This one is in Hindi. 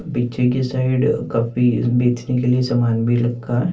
पीछे की साइड काफी बेचने के लिए सामान भी रखा है।